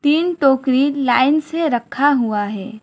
तीन टोकरी लाइन से रखा हुआ है।